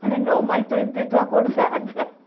Falei, não, mãe, estou em pé, estou acordada.